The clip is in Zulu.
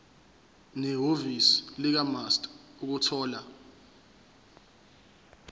nehhovisi likamaster ukuthola